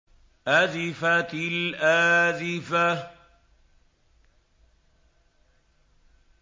أَزِفَتِ الْآزِفَةُ